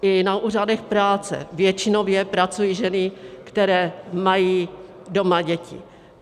I na úřadech práce většinově pracují ženy, které mají doma děti.